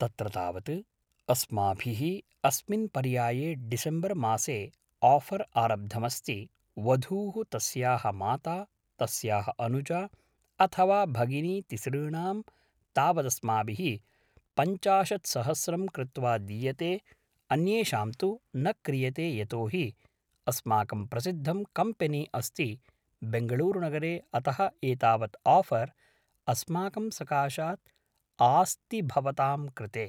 तत्र तावत् अस्माभिः अस्मिन् पर्याये डिसेम्बर् मासे आफ़र् आरब्धमस्ति वधूः तस्याः माता तस्याः अनुजा अथवा भगिनी तिसॄणां तावदस्माभिः पञ्चाशत् सहस्रं कृत्वा दीयते अन्येषां तु न क्रियते यतो हि अस्माकं प्रसिद्धं कम्पेनि अस्ति बेङ्गलूरु नगरे अतः एतावत् आफ़र् अस्माकं सकाशात् आस्ति भवतां कृते